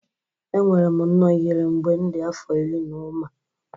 Enwere m nnọọ ihere mgbe m dị afọ iri na ụma